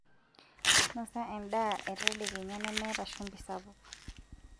Nosa endaa e tedekenya nemeeta shumbi sapuk.